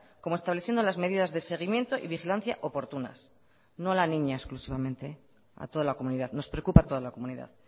como estableciendo las medidas de seguimiento y vigilancia oportunas no a la niña exclusivamente a toda la comunidad nos preocupa toda la comunidad